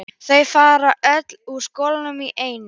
Þau fara öll úr skónum í einu.